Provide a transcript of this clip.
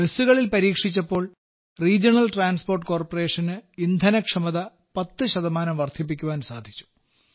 ബസ്സുകളിൽ പരീക്ഷിച്ചപ്പോൾ regional transport കോർപ്പറേഷന് ഇന്ധനക്ഷമത 10 ശതമാനം വർദ്ധിപ്പിക്കുവാൻ സാധിച്ചു